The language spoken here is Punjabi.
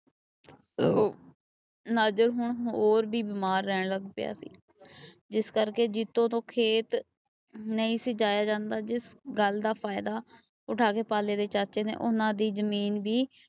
ਨਜ਼ਰ ਸਿੰਘ ਹੋਰ ਵੀ ਬਿਮਾਰ ਰਹਿਣ ਲੱਗ ਪਿਆ ਸੀ। ਜਿਸ ਕਰਕੇ ਜੀਤੋ ਤੋਂ ਖੇਤ ਨਹੀਂ ਸੀ ਜਾਇਆ ਜਾਂਦਾ। ਜਿਸ ਗੱਲ ਦਾ ਫਾਇਦਾ ਉੱਠਾ ਕੇ ਪਾਲੇ ਦੇ ਚਾਚੇ ਨੇ ਉਹਨਾਂ ਦੀ ਜਮੀਨ ਵੀ